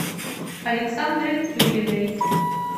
александры тюриной